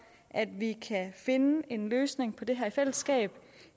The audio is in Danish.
at vi kan finde en løsning på det her i fællesskab